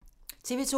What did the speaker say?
TV 2